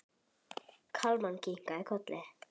Kalman kinkaði kolli.